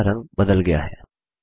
text का रंग बदल गया है